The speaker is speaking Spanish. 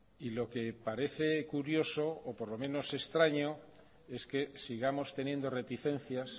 y lo que parece curioso o por lo menos extraño es que sigamos teniendo reticencias